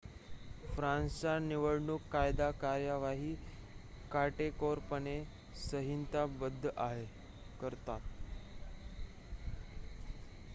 फ्रान्सचा निवडणूक कायदा कार्यवाही काटेकोरपणे संहिताबद्ध करतो